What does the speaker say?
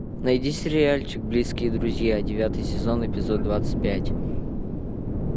найди сериальчик близкие друзья девятый сезон эпизод двадцать пять